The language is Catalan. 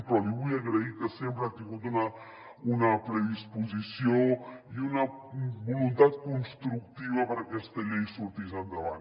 però li vull agrair que sempre ha tingut una predisposició i una voluntat constructiva perquè aquesta llei sortís endavant